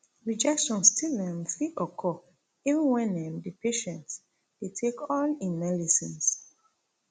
rejection still um fit occur even wen um di patient dey take all im melecines